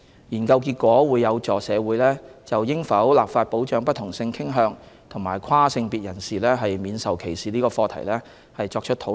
研究結果會有助社會就應否立法保障不同性傾向及跨性別人士免受歧視這項課題作討論。